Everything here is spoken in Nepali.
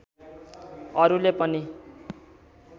अरूले पनि